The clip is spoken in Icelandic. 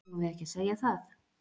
Eigum við ekki að segja það?